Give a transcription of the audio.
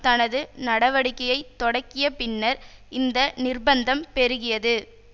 தனது நடவடிக்கையை தொடகிய பின்னர் இந்த நிர்பந்தம் பெருகியது